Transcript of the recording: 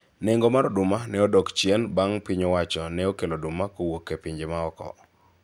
nengo mar oduma ne odok chien bang' piny owacho ne okelo oduma kowuok e pinje maoko